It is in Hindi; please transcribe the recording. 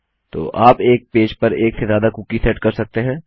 तो आप एक पेज पर एक से ज्यादा कुकी सेट कर सकते हैं